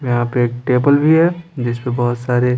यहां पे एक टेबल भी है जिस पर बहुत सारे--